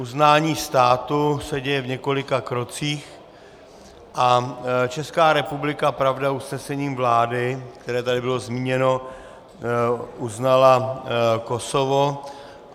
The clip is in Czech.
Uznání státu se děje v několika krocích a Česká republika, pravda, usnesením vlády, které tady bylo zmíněno, uznala Kosovo.